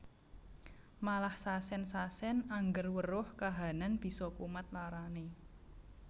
Malah sasen sasen angger weruh kahanan bisa kumat larane